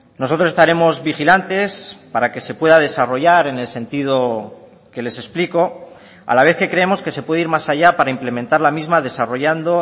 nosotros estaremos vigilantes para que se pueda desarrollar en el sentido que les explico a la vez que creemos que se puede ir más allá para implementar la misma desarrollando